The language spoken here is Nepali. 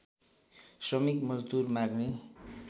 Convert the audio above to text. श्रमिक मजदूर माग्ने